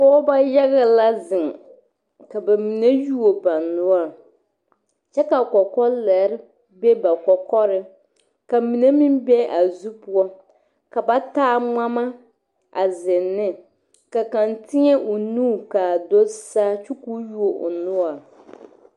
Pɔgeba yaga la zeŋ ka ba mine yuo ba noɔre kyɛ ka kɔkɔlɛre be ba kɔkɔreŋ ka mine meŋ be a zu poɔ ka ba taa ŋmama zeŋ ne ka kaŋa teɛ o nu kaa do Saa kyɛ ka o yuo o noɔre